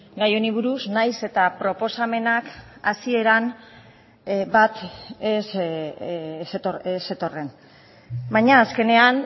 gai honi buruz nahiz eta proposamenak hasieran bat ez zetorren baina azkenean